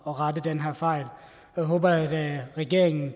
at rette den her fejl jeg håber at regeringen